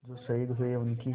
जो शहीद हुए हैं उनकी